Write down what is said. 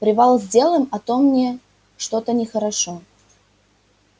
привал сделаем а то мне что-то нехорошо